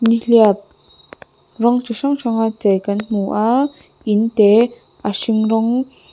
nihliap rawng chi hrang hranga chei kan hmu a in te a hring rawng --